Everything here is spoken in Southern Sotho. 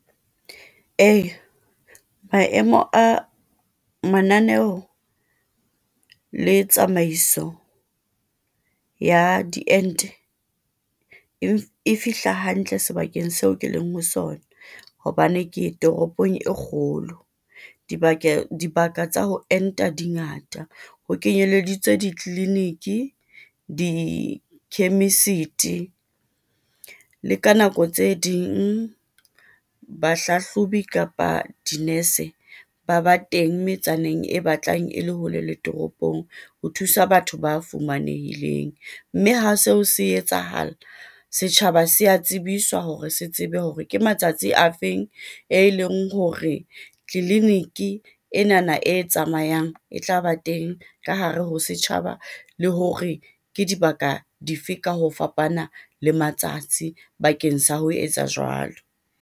Ee, maemo a mananeo le tsamaiso ya diente e fihla hantle sebakeng seo ke leng ho sona, hobane ke ye toropong e kgolo, dibaka tsa ho enta di ngata, ho kenyeleditswe ditleleniki, dikhemisete, le ka nako tse ding bahlahlobi kapa dinese ba ba teng metsaneng e batlang e le hole le toropong ho thusa batho ba fumanehile. Mme ha seo se etsahala, setjhaba se ya tsebiswa hore se tsebe hore ke matsatsi ke a afeng, e leng hore tleleniki enana e tsamayang, e tlaba teng ka hare ho setjhaba, le hore ke dibaka difeng ka ho fapana le matsatsi bakeng sa ho etsa jwalo.